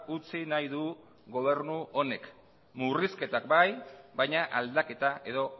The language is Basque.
utzi nahi du gobernu honek murrizketak bai baina aldaketa edo